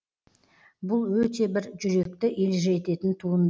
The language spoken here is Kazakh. бұл өте бір жүректі елжірететін туынды